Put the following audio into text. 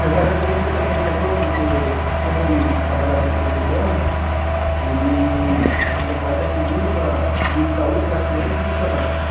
Meu pai já conhecia também o diretor, porque como ele trabalhava na empresa de ônibus, ele ele já fazia seguro para, seguro de saúde para quinhentos funcionários.